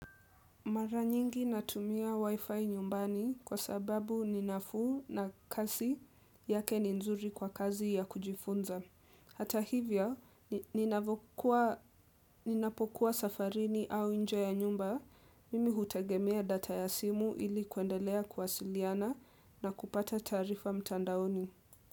Mara nyingi natumia wi-fi nyumbani kwa sababu ninafu na kasi yake ni nzuri kwa kazi ya kujifunza. Hata hivyo, ninapokuwa safarini au nje ya nyumba, mimi hutegemea data ya simu ili kuendelea k kuwasiliana na kupata tarifa mtandaoni.